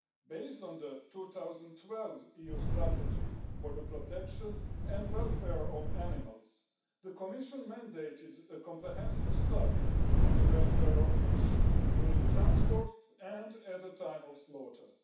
Based on the 2012 EU strategy for the protection and welfare of animals, the Commission mandated a comprehensive study on the welfare of fish during transport and at the time of slaughter.